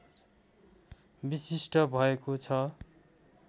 विशिष्ट भएको छ